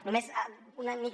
només una mica